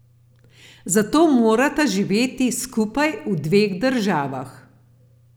Zato morata živeti skupaj v dveh državah.